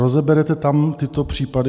Rozeberete tam tyto případy?